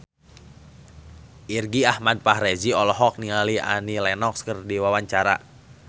Irgi Ahmad Fahrezi olohok ningali Annie Lenox keur diwawancara